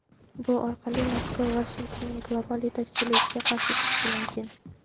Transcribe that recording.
bu orqali Moskva Vashingtonning global yetakchiligiga qarshi chiqishi mumkin.